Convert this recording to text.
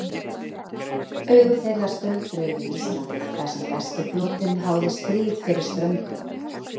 Augu þeirra stöldruðu við Ísland, þar sem breski flotinn háði stríð fyrir ströndum.